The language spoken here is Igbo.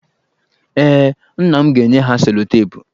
Ee, nna m ga-enye ha selotepụ.